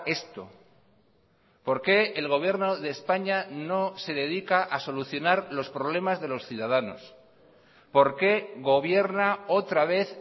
esto por qué el gobierno de españa no se dedica a solucionar los problemas de los ciudadanos por qué gobierna otra vez